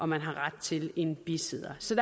man har ret til en bisidder så